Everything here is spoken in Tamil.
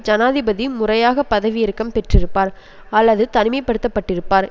ஜனாதிபதி முறையாக பதவி இறக்கம் பெற்றிருப்பார் அல்லது தனிமைப்படுத்தப்பட்டிருப்பார்